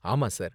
ஆமா சார்.